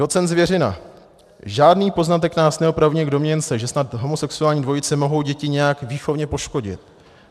Docent Zvěřina: "Žádný poznatek nás neopravňuje k domněnce, že snad homosexuální dvojice mohou děti nějak výchovně poškodit.